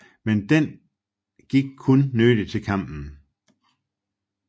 Men den gik kun nødig til kampen